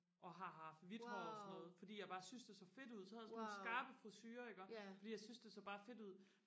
og har haft hvid hår og sådan noget fordi jeg bare syntes det så fedt ud så havde jeg sådan nogle skarpe frisurer iggå fordi jeg syntes det så bare fedt ud